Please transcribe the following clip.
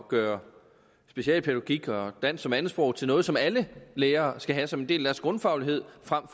gøre specialpædagogik og dansk som andetsprog til noget som alle lærere skal have som en del af deres grundfaglighed frem